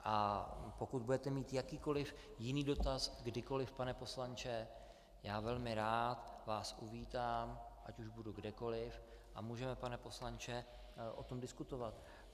A pokud budete mít jakýkoli jiný dotaz kdykoli, pane poslanče, já velmi rád vás uvítám, ať už budu kdekoliv, a můžeme, pane poslanče, o tom diskutovat.